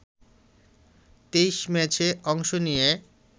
২৩ম্যাচে অংশ নিয়ে